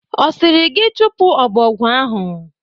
Ọ sịrị gị chụpụ ọbọgwụ ahụ?